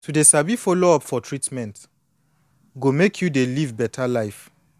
to dey sabi follow up for treatment go make you dey live beta life